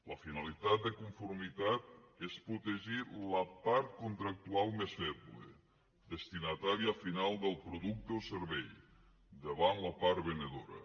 la finalitat de conformitat és protegir la part contractual més feble destinatària final del producte o servei davant la part venedora